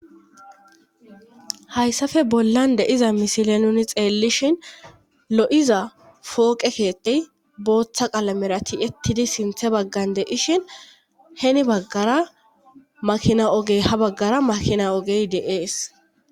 hayssafe bollan deiza misile nuni xeellishin lo7iza fooqekeettey booththa qalamerati ettidi sinthe baggan de ishin heni baggara makina ogey ha baggara makina ogey de7ees